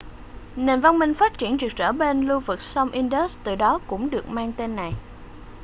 nền văn minh phát triển rực rỡ bên lưu vực sông indus từ đó cũng được mang tên này